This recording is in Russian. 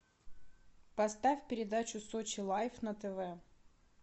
поставь передачу сочи лайф на тв